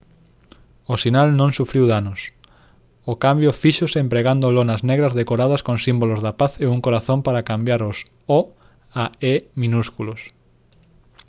o sinal non sufriu danos; o cambio fíxose empregando lonas negras decoradas con símbolos da paz e un corazón para cambiar os «o» a «e» minúsculos